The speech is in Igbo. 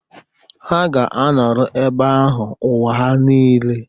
Ha ga-anọrọ ebe ahụ ụwa ha nile